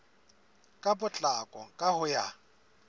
ka potlako ka ho ya